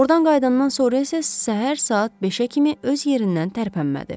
Ordan qayıdandan sonra isə səhər saat 5-ə kimi öz yerindən tərpənmədi.